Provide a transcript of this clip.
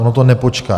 Ono to nepočká.